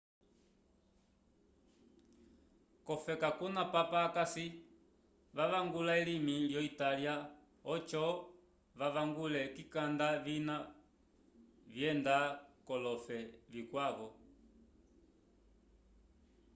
ofeka kuna papa akasi vavangula elimi yo italya ojo vavangule kikanda vina vyenda kolofe vikwavo